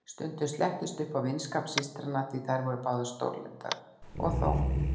Stundum slettist upp á vinskap systranna, því þær voru báðar stórlyndar, og þó.